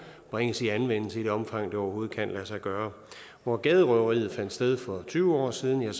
bringes i anvendelse i det omfang det overhovedet kan lade sig gøre hvor gaderøveriet fandt sted for tyve år siden er